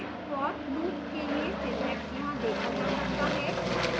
for loop के लिए syntax यहाँ देखा जा सकता है